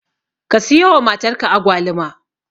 Ka siyowa matarka Agwaluma.